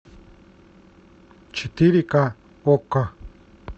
четыре ка окко